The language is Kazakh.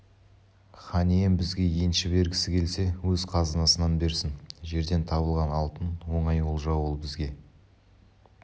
хан ием бізге енші бергісі келсе өз қазынасынан берсін жерден табылған алтын оңай олжа ол бізге